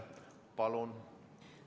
Palun!